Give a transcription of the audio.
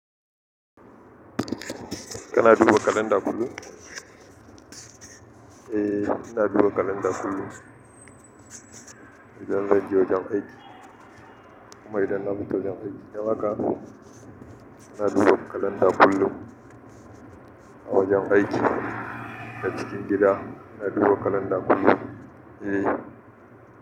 Kana duba kalanda kullum? Eh, ina duba kalanda kullum. Idan zan je wajen aiki kuma idan na fita wajen aiki, don haka ina duba kalanda kullum a wajen aiki da cikin gida ina duba kalanda kullum. Eh.